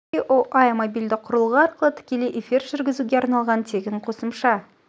іе іе мобильді құрылғы арқылы тікелей эфир жүргізуге арналған тегін қосымша